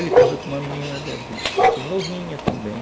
Ele casou com uma menina novinha também.